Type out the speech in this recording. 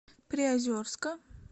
приозерска